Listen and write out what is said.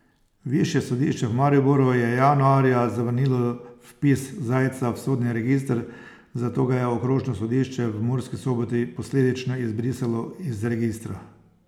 Višje sodišče v Mariboru je januarja zavrnilo vpis Zajca v sodni register, zato ga je okrožno sodišče v Murski Soboti posledično izbrisalo iz registra.